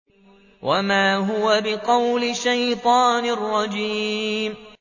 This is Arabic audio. وَمَا هُوَ بِقَوْلِ شَيْطَانٍ رَّجِيمٍ